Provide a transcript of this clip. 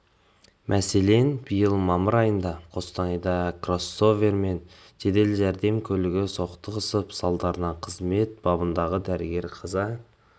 мәселен биыл мамыр айында қостанайда кроссовер мен жедел жәрдем көлігі соқтығысып салдарынан қызмет бабындағы дәрігер қаза